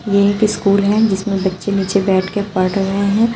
ये एक स्कूल है जिसमें बच्चे नीचे बैठकर पढ़ रहे हैं।